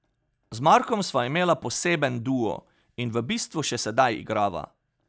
Z Markom sva imela poseben duo in v bistvu še sedaj igrava.